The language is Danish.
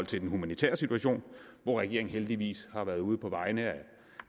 til den humanitære situation hvor regeringen heldigvis har været ude på vegne af